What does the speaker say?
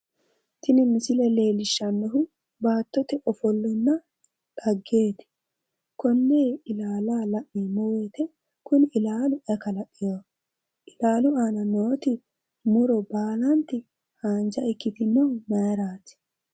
Tini misile leellishshannohu baattote ofollonna dhaggeeti. Konni ilaalaho la'neemmo woyite kuni ilaalu ayi kalaqiwoho? Ilaalu aana nooti muro baalanti haanja ikkitinohu mayiraati?